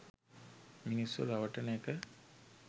මිනිස්සු රවටන එක